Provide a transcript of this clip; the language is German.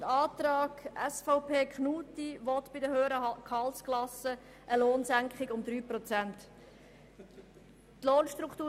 Der Antrag Knutti will bei den höheren Gehaltsklassen eine Lohnsenkung von 3 Prozent erwirken.